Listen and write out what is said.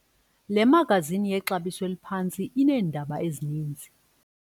Le magazini yexabiso eliphantsi ineendaba ezininzi.